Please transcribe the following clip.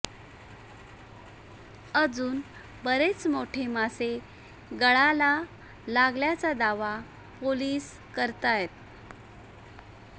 अजून बरेच मोठे मासे गळाला लागल्याचा दावा पोलीस करतायत